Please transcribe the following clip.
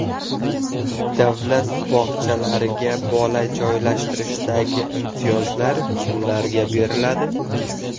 Davlat bog‘chalariga bola joylashtirishdagi imtiyozlar kimlarga beriladi?.